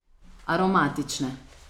Aromatične.